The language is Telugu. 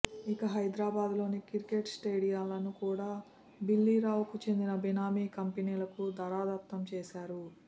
ఇక హైదరాబాద్లోని క్రికెట్ స్టేడియాలను కూడా బిల్లీరావుకు చెందిన బినామీ కంపెనీలకు ధారాదత్తంచేశారు